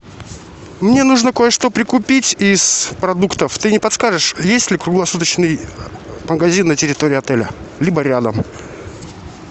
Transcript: мне нужно кое что прикупить из продуктов ты не подскажешь есть ли круглосуточный магазин на территории отеля либо рядом